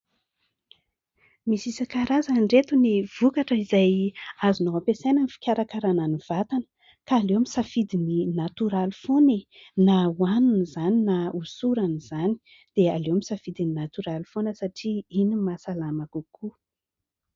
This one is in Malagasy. misy isan-karazany ireto ny vokatra izay azonao ampiasaina ny fikarakarana ny vatana ka aleo misafidy ny natoraly foana e na hoanina izany na hosorana izany dia aleo misafidy ny natoraly foana satria iny no mahasalama kokoa